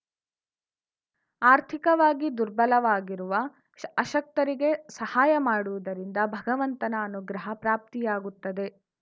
ಆರ್ಥಿಕವಾಗಿ ದುರ್ಬಲವಾಗಿರುವ ಶ ಅಶಕ್ತರಿಗೆ ಸಹಾಯ ಮಾಡುವುದರಿಂದ ಭಗವಂತನ ಅನುಗ್ರಹ ಪ್ರಾಪ್ತಿಯಾಗುತ್ತದೆ